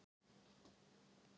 Að mega eða mega ekki